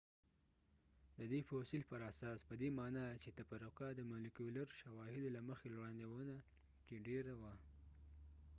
د دې فوسیل پراساس پدې معنی چې تفرقه د مولیکولر شواهدو له مخې وړاندوینه کې ډیره وه